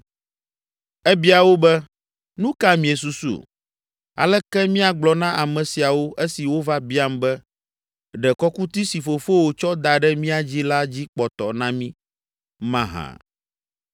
Ebia wo be, “Nu ka miesusu? Aleke míagblɔ na ame siawo esi wova biam be, ‘Ɖe kɔkuti si fofowò tsɔ da ɖe mía dzi la dzi kpɔtɔ na mí’ mahã?”